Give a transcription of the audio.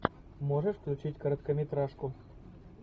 можешь включить короткометражку